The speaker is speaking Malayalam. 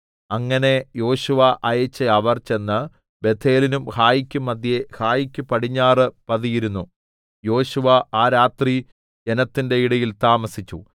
അങ്ങനെ യോശുവ അയച്ച അവർ ചെന്ന് ബേഥേലിനും ഹായിക്കും മദ്ധ്യേ ഹായിക്ക് പടിഞ്ഞാറ് പതിയിരുന്നു യോശുവ ആ രാത്രി ജനത്തിന്റെ ഇടയിൽ താമസിച്ചു